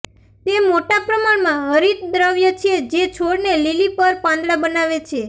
તે મોટા પ્રમાણમાં હરિતદ્રવ્ય છે જે છોડને લીલી પર પાંદડા બનાવે છે